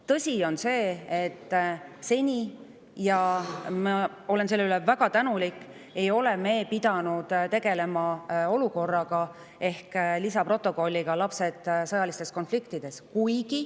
Tõsi on see, et seni – ja ma olen selle eest väga tänulik – ei ole me pidanud tegelema olukorraga, mida lisaprotokoll laste kohta sõjalistes konfliktides.